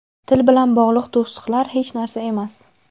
Til bilan bog‘liq to‘siqlar hech narsa emas.